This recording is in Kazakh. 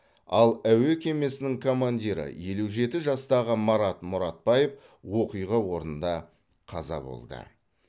ал әуе кемесінің командирі елу жеті жастағы марат мұратбаев оқиға орнында қаза болды